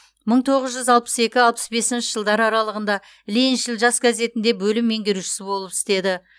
мың тоғыз жүз алпыс екі алпыс бесінші жылдар аралығында лениншіл жас газетінде бөлім меңгерушісі болып істеді